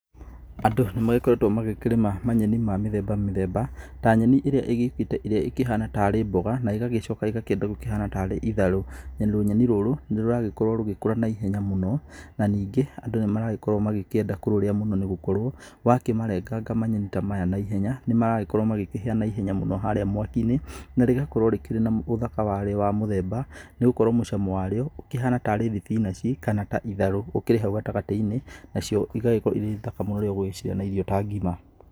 Andũ nĩ magĩkoretwo makĩrĩma manyeni ma mĩthemba mĩthemba ta nyeni ĩrĩa ĩgĩũkĩte ĩrĩa ĩkĩhana tari mboga, ĩgacoka ĩgakienda rĩu gũkĩhana tarĩ itharũ. Rũnyeni rũrũ nĩ rũragĩkorwo rũgĩkũra na ihenya mũno, na ningĩ andũ nĩ marakorwo makĩenda kũrũrĩa mũno, nĩ gũkorwo wa kĩmarenganga manyeni ta maya na ihenya nĩ maragĩkorwo magikĩhĩa na ihenya mũno harĩa mwaki-inĩ. Na rĩgakorwo rĩkĩrĩ na ũthaka warĩo wa mũthemba, nĩ gũkorwo mũcamo warĩo ũkĩhana tarĩ thibinanji kana ta itharũ, ũkĩrĩ hau gatagatĩ-inĩ. Nacio igagĩkorwo irĩ thaka mũno rĩrĩa ũgũcirĩa na irio ta ngima.